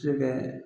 Se kɛ